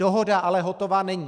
Dohoda ale hotová není.